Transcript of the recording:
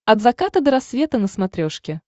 от заката до рассвета на смотрешке